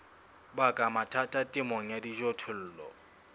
baka mathata temong ya dijothollo